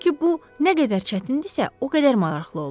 Çünki bu nə qədər çətindirsə, o qədər maraqlı olur.